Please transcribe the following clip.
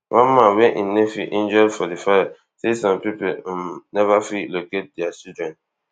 one man wey im nephew injured for di fir say some pipo um never fit locate dia children